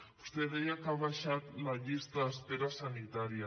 vostè deia que ha baixat la llista d’espera sanitària